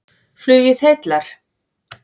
Flugið heillar